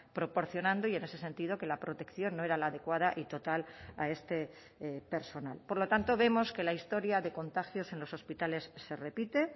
proporcionando y en ese sentido que la protección no era la adecuada y total a este personal por lo tanto vemos que la historia de contagios en los hospitales se repite